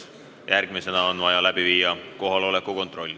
Järgmisena on vaja teha kohaloleku kontroll.